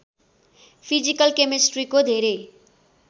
physical केमेस्ट्रीको धेरै